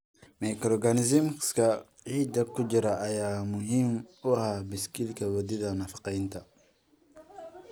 Microorganisms-ka ciidda ku jira ayaa muhiim u ah baaskiil wadida nafaqeynta.